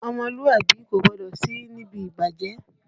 Ọmọlúàbí kò gbọdọ̀ sí níbi ìbàjẹ́